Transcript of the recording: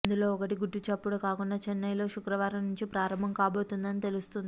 అందులో ఒకటి గుట్టు చప్పుడు కాకుండా చెన్నయ్ లో శుక్రవారం నుంచి ప్రారంభం కాబోతోందని తెలుస్తోంది